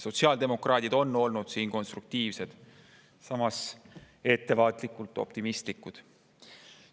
Sotsiaaldemokraadid on olnud konstruktiivsed, samas ettevaatlikult optimistlikud.